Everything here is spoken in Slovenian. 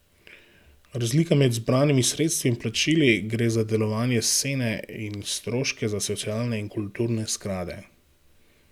Razlika med zbranimi sredstvi in plačili gre za delovanje Sene in stroške za socialne in kulturne sklade.